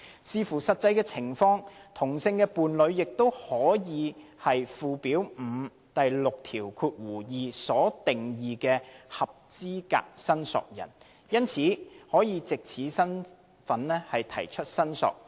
視乎實際情況，同性伴侶亦可以是附表5第62條所定義的"合資格申索人"，因而可藉此身份提出申索。